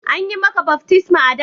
An yi maka baftisma a'da?